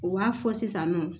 U b'a fɔ sisan nɔ